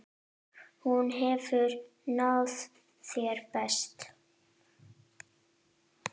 Hún hefur náð þeim bestu.